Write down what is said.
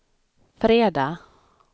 fredag